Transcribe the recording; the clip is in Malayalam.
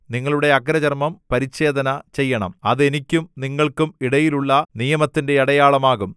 നിങ്ങളുടെ അഗ്രചർമ്മം പരിച്ഛേദന ചെയ്യണം അത് എനിക്കും നിങ്ങൾക്കും ഇടയിലുള്ള നിയമത്തിന്റെ അടയാളം ആകും